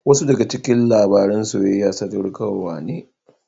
Wasu daga cikin labaran soyayya sadaukarwa ne.